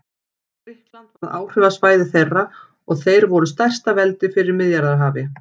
Grikkland varð áhrifasvæði þeirra og þeir voru stærsta veldi fyrir Miðjarðarhafi.